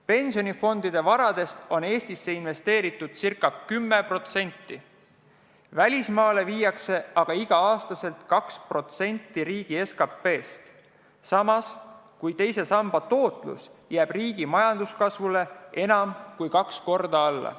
Pensionifondide varast on Eestisse investeeritud ca 10%, välismaale viiakse aga igal aastal summa, mis moodustab 2% riigi SKP-st, samas kui teise samba tootlus jääb riigi majanduskasvule enam kui kaks korda alla.